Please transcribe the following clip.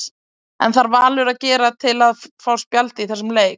Hvað þarf Valur að gera til að fá spjald í þessum leik?